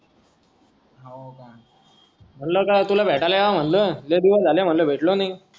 म्हणलं का तुला भेटायला यावं म्हणलं लयी दिवस झाले म्हणलं भेटलो नाही